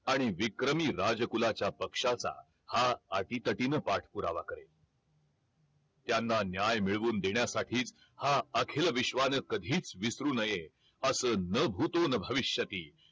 आणि विक्रमी राज कुलाच्या पक्षाचा हा अटीतटीन पाठ पुरावा करेल त्यांना न्याय मिळवून देण्यासाठीच हा अखिल विश्वान कधीच विसरू नये अस न भूतो न भविष्यती